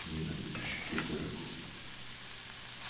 не на будущий год дорогой